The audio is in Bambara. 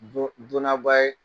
Donaba ye.